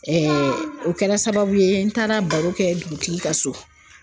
o kɛra sababu ye , n taara baro kɛ dugutigi ka so